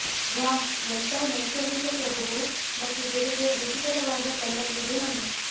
ವಾಹ್ ಎಂತಹ ನೈಸರ್ಗಿಕ ಸೊಬಗು ಮತ್ತು ಜೊತೆಗೆ ರುಚಿಕರವಾದ ಕಲ್ಲಂಗಡಿ ಹಣ್ಣು